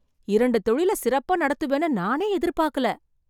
இரண்டு தொழில சிறப்பா நடத்துவேன்னு நானே எதிர்பாக்கல